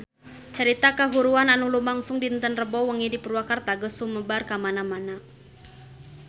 Carita kahuruan anu lumangsung dinten Rebo wengi di Purwakarta geus sumebar kamana-mana